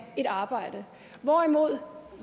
et arbejde hvorimod